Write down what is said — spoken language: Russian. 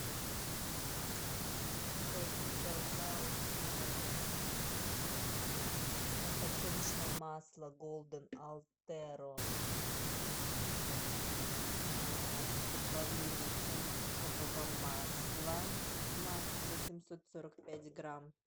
закажи пожалуйста подсолнечное масло голден алтеро с добавлением оливкового масла масса семьсот сорок пять грамм